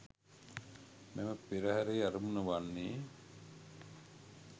මෙම පෙරහරේ අරමුණ වන්නේ